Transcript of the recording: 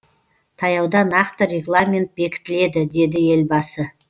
таяуда нақты регламент бекітіледі деді елбасы